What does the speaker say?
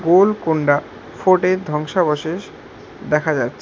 গোলকুন্ডা ফোর্টের ধ্বংসাবশেষ দেখা যাচ্ছে।